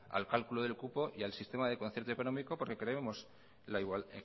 al cálculo del cupo y al sistema del concierto económico porque